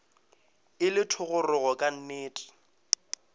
e le thogorogo ka nnete